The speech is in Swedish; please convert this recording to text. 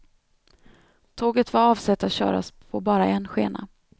Tåget var avsett att köras på bara en skena.